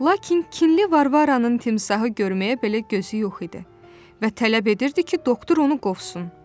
Lakin kinli Varvaranın timsahı görməyə belə gözü yox idi və tələb edirdi ki, doktor onu qovsun.